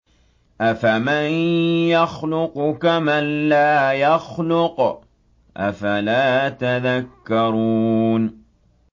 أَفَمَن يَخْلُقُ كَمَن لَّا يَخْلُقُ ۗ أَفَلَا تَذَكَّرُونَ